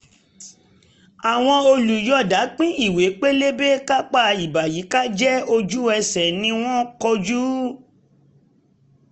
àwọn olùyọ̀ọ̀da pín ìwé pélébé kápá ìbàyíkájẹ́ ojú ẹsẹ̀ ni wọ́n kó jù